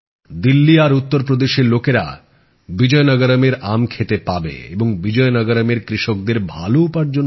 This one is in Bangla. দিল্লী আর উত্তর প্রদেশের লোকেরা বিজয়নগরমের আম খেতে পাবে আর বিজয়নগরমের কৃষকদের ভালো উপার্জন হবে